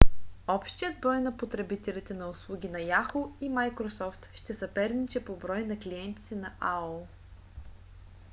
общият брой на потребителите на услуги на yahoo! и microsoft ще съперничи по брой на клиентите на aol